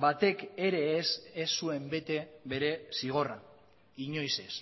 batek ere ez ez zuen bete bere zigorra inoiz ez